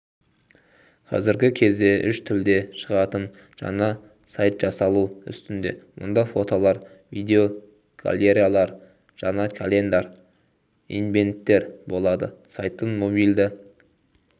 қазіргі кезде үш тілде шығатын жаңа сайтжасалу үстінде мұнда фотолар видеогалереялар жәнекалендарь ивенттер болады сайттың мобильді